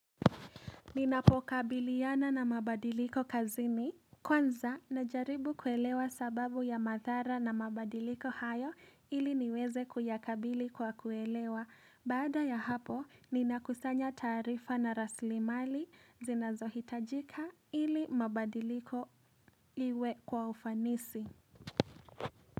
Ninapokabiliana na mabadiliko kazini. Kwanza, najaribu kuelewa sababu ya madhara na mabadiliko hayo ili niweze kuyakabili kwa kuelewa. Baada ya hapo, ninakusanya taarifa na rasilimali zinazohitajika ili mabadiliko iwe kwa ufanisi.